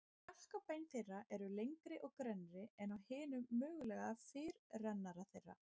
Kjálkabein þeirra eru lengri og grennri en á hinum mögulega fyrirrennara þeirra.